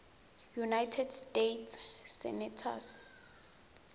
united states senators